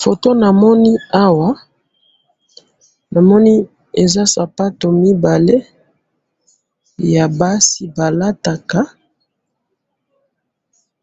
photo namoni awa, namoni eza sapato mibale ya basi ba lataka,